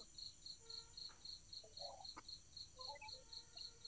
.